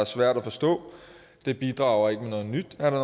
svært at forstå det bidrager ikke med noget nyt er der